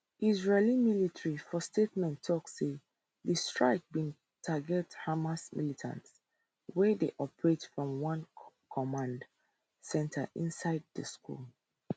israeli military for statement tok say di strike bin target hamas militants wey dey operate from one command centre inside di school